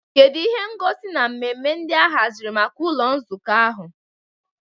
Kedu ihe ngosi na mmemme ndị a haziri maka ụlọ nzukọ ahụ?